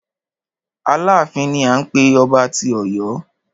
Aláàfin ni à ń pé ọba tí Ọ̀yọ́.